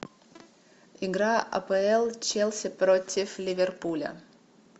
игра апл челси против ливерпуля